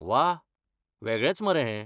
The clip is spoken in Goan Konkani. वा, वेगळेंच मरे हें .